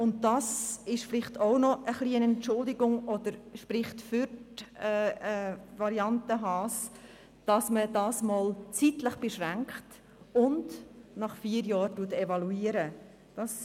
Es spricht für die Variante Haas, dass die Regelung zeitlich beschränkt ist und nach vier Jahren evaluiert werden soll.